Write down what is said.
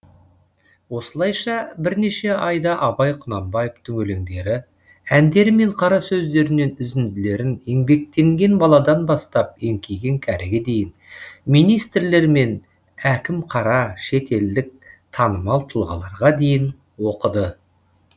осылайша бірнеше айда абай құнанбаевтың өлеңдері әндері мен қара сөздерінен үзінділерін еңбектенген баладан бастап еңкейген кәріге дейін министрлер мен әкім қара шетелдік танымал тұлғаларға дейін оқыды